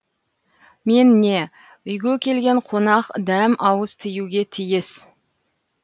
мен не үйге келген қонақ дәм ауыз тиюге тиіс